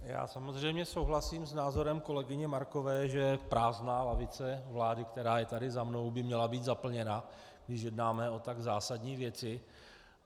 Já samozřejmě souhlasím s názorem kolegyně Markové, že prázdná lavice vlády, která je tady za mnou, by měla být zaplněna, když jednáme o tak zásadní věci,.